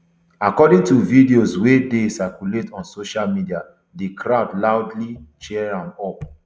according to videos wey dey circulate on social media di crowd loudly cheer am up